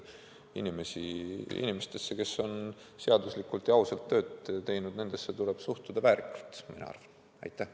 Inimestesse, kes on igati seaduslikult ja ausalt oma tööd teinud, tuleb suhtuda väärikalt, arvan ma.